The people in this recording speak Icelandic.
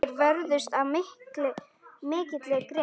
Þeir vörðust af mikilli grimmd.